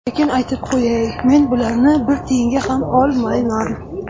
Lekin aytib qo‘yay, men bularni bir tiyinga ham olmayman.